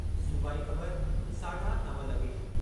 सूबाई ख़बरु, (साढा नव लगे॒)